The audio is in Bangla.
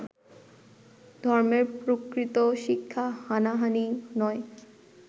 ধর্মের প্রকৃত শিক্ষা হানাহানি নয়